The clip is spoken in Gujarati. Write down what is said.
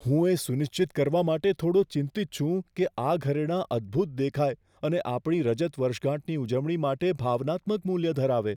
હું એ સુનિશ્ચિત કરવા માટે થોડો ચિંતિત છું કે આ ઘરેણાં અદ્ભુત દેખાય અને આપણી રજત વર્ષગાંઠની ઉજવણી માટે ભાવનાત્મક મૂલ્ય ધરાવે.